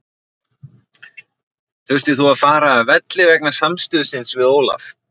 Þurftir þú að fara af velli vegna samstuðsins við Ólaf?